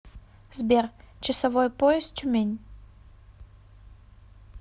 сбер часовой пояс тюмень